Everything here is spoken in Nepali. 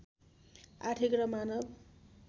आर्थिक र मानव